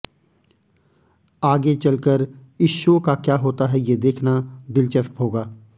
आगे चलकर इस शो का क्या होता है ये देखना दिलचस्प होगा